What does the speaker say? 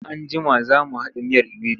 In an jima za mu haɗa miyar iwedu.